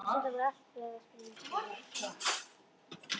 Stundum var allt við það að springa.